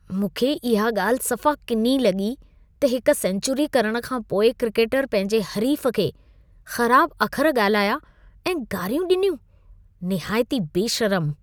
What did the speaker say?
मूंखे इहा ॻाल्हि सफ़ा किनी लॻी त हिक सेंचुरी करण खां पोइ क्रिकेटर पंहिंजे हरीफ खे ख़राब अखर ॻाल्हाया ऐं गारियूं ॾिनियूं। निहायती बेशर्म!